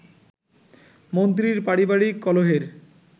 মন্ত্রীর পারিবারিক কলহের